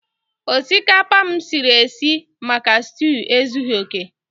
Osikapa m siri sie maka stew ezughi oke.